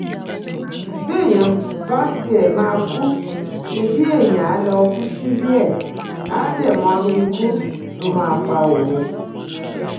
béèyàn bá tiẹ̀ máa kú ṣebí èèyàn áà lọ kú sílé ẹ̀ á dẹ̀ mọrú ikú tó máa pa òun